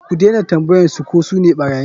Ku dena tambayan su ko sune ɓarayin.